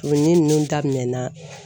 O ɲinini nunnu daminɛ na.